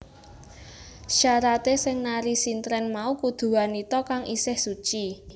Syaraté sing nari sintren mau kudu wanita kang isih suci